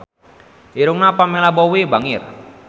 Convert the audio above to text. Irungna Pamela Bowie bangir